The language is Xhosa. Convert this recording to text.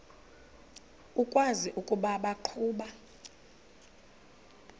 ukwazi ukuba baqhuba